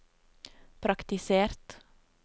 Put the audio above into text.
praktisert